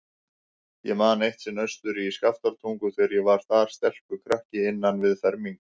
Ég man eitt sinn austur í Skaftártungu, þegar ég var þar, stelpukrakki innan við fermingu.